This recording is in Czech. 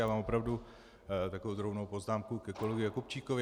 Já mám opravdu takovou drobnou poznámku ke kolegovi Jakubčíkovi.